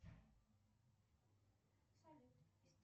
салют